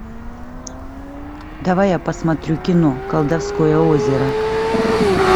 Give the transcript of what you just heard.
давай я посмотрю кино колдовское озеро